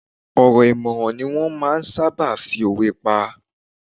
Ọ̀rọ̀ ìmọ̀ràn ni wọ́n máa ń sáábà fi òwe pa.